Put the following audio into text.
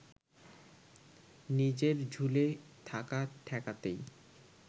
নিজের ঝুলে থাকা ঠেকাতেই